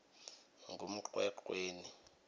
ngumngwengweni